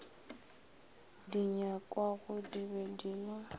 di nyakwagodi be di le